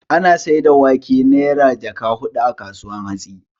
Ana saida wake Naira jaka hudu a kasuwar hatsi